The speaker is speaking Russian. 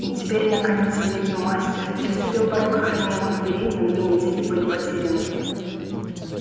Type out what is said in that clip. и теперь наконец великий мастер переступил порог охраняемых дверей но две недели были потеряны